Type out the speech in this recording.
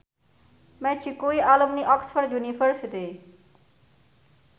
Magic kuwi alumni Oxford university